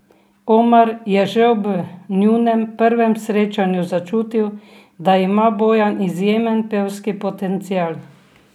Omar je že ob njunem prvem srečanju začutil, da ima Bojan izjemen pevski potencial.